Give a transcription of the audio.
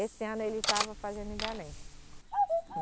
Esse ano ele estava fazendo em Belém.